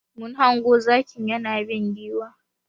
Mun hango zaki yana bin giwa.